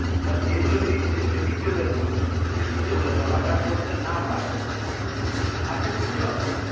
সে যদি disable হয় সে যদি disable হয় চলা ফেরা করতে না পারে তার ক্ষেত্রে কি হবে